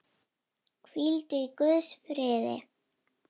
Hvíldu í Guðs friði.